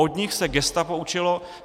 Od nich se gestapo učilo.